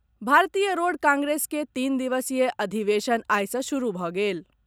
भारतीय road congress के तीन दिवसीय अधिवेशन आई सँ शुरू भऽ गेल।